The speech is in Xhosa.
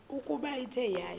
ukuba ithe yaya